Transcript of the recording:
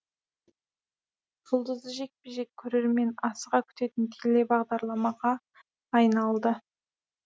жұлдызды жекпе жек көрермен асыға күтетін телебағдарламаға айналды